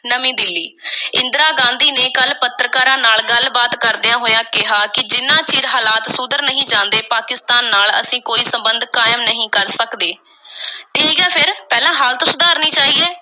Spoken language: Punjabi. ਨਵੀਂ ਦਿੱਲੀ, ਇੰਦਰਾ ਗਾਂਧੀ ਨੇ ਕੱਲ੍ਹ ਪੱਤਰਕਾਰਾਂ ਨਾਲ ਗੱਲ-ਬਾਤ ਕਰਦਿਆਂ ਹੋਇਆਂ ਕਿਹਾ ਕਿ ਜਿੰਨਾ ਚਿਰ ਹਾਲਾਤ ਸੁਧਰ ਨਹੀਂ ਜਾਂਦੇ, ਪਾਕਿਸਤਾਨ ਨਾਲ ਅਸੀਂ ਕੋਈ ਸੰਬੰਧ ਕਾਇਮ ਨਹੀਂ ਕਰ ਸਕਦੇ। ਠੀਕ ਏ ਫੇਰ, ਪਹਿਲਾਂ ਹਾਲਤ ਸੁਧਾਰਨੀ ਚਾਹੀਏ,